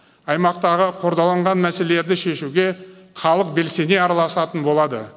аймақтағы қордаланған мәселелерді шешуге халық белсене араласатын болады